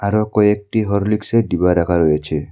আরো কয়েকটি হরলিক্সের ডিবা রাখা রয়েছে।